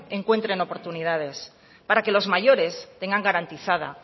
encuentren oportunidades para que los mayores tengan garantizada